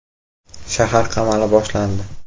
Shahar qamali boshlandi.